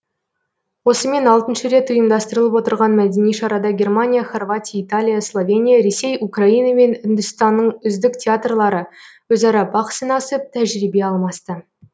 осымен алтыншы рет ұйымдастырылып отырған мәдени шарада германия хорватия италия словения ресей украина мен үндістанның үздік театрлары өзара бақ сынасып тәжірибе алмасты